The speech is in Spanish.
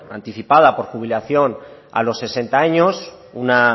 anticipada por jubilación a los sesenta años una